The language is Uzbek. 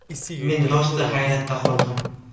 Men rosti hayratda qoldim.